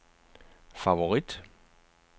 favorit